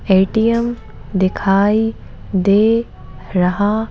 ATM दिखाई दे रहा --